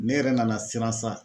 Ne yɛrɛ nana siran sa